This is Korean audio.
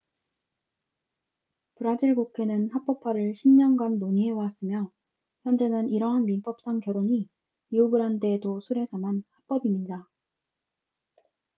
브라질 국회는 합법화를 10년간 논의해왔으며 현재는 이러한 민법상 결혼이 리오그란데 도 술에서만 합법입니다